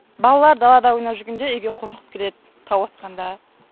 балалар далада ойнап жүргенде үйге қорқып кіреді тау атқанда